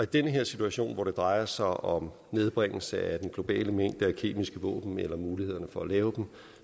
den her situation hvor det drejer sig om nedbringelse af den globale mængde af kemiske våben eller mulighederne for at lave dem